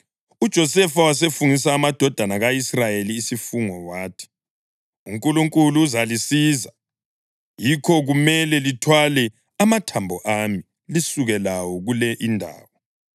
UJosefa wasefungisa amadodana ka-Israyeli isifungo wathi, “UNkulunkulu uzalisiza, yikho kumele lithwale amathambo ami lisuke lawo kule indawo.”